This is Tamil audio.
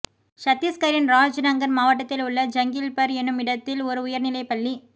சத்தீஷ்கரின் ராஜ்நங்கன் மாவட்டத்தில் உள்ள ஜங்கிள்பர் எனும் இடத்தில் ஒரு உயர்நிலைப் பள்ளி